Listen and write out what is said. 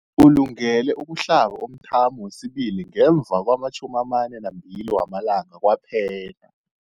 Ulungele ukuhlaba umthamo wesibili ngemva kwama-42 wamalanga kwaphela.